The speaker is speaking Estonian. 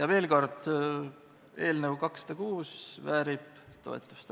Veel kord: eelnõu 206 väärib toetust.